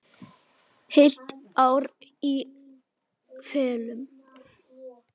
Heilt ár í felum.